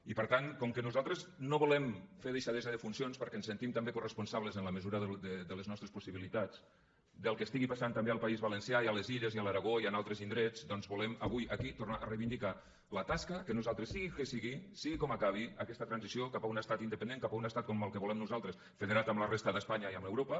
i per tant com que nosaltres no volem fer deixadesa de funcions perquè ens sentim també coresponsables en la mesura de les nostres possibilitats del que estigui passant també al país valencià i a les illes i a l’aragó i en altres indrets doncs volem avui aquí tornar a reivindicar la tasca que nosaltres sigui el que sigui sigui com acabi aquesta transició cap a un estat independent cap a un estat com el que volem nosaltres federat amb la resta d’espanya i amb europa